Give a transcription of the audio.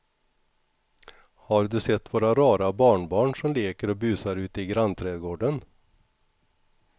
Har du sett våra rara barnbarn som leker och busar ute i grannträdgården!